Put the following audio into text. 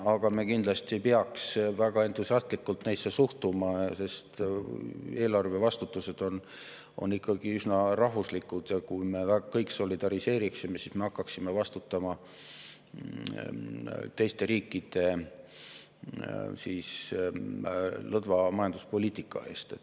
Aga me kindlasti ei peaks väga entusiastlikult neisse suhtuma, sest vastutus eelarve eest on ikkagi üsna rahvuslik ja kui me kõik solidariseeriksime, siis me hakkaksime vastutama teiste riikide lõdva majanduspoliitika eest.